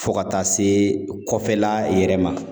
Fɔ ka taa se kɔfɛla yɛrɛ ma